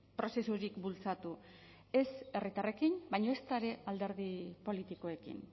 prozesurik bultzatu ez herritarrekin baina ezta ere alderdi politikoekin